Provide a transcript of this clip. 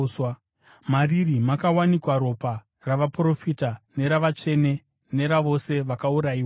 Mariri makawanikwa ropa ravaprofita neravatsvene, neravose vakaurayiwa panyika.”